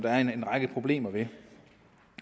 er en række problemer ved